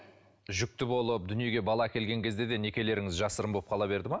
жүкті болып дүниеге бала әкелген кезде де некелеріңіз жасырын болып қала берді ме